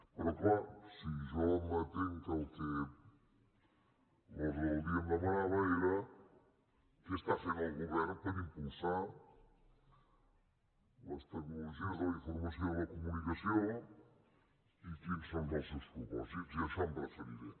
però clar si jo m’atinc al que l’ordre del dia em demanava era què està fent el govern per impulsar les tecnologies de la informació i de la comunicació i quins són els seus propòsits i a això em referiré